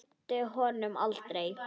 Gleymir honum aldrei.